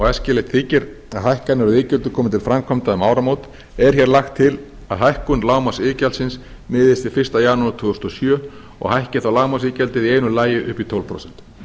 æskilegt þykir að hækkanir á iðgjöldum komi til framkvæmda um áramót er hér lagt til að hækkun lágmarksiðgjaldsins miðist við fyrsta janúar tvö þúsund og sjö og hækki þá lágmarksiðgjaldið í einu lagi upp í tólf prósent